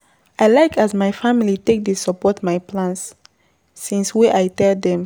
I like as my family take dey support my plans since wey I tell dem.